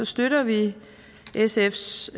støtter vi sfs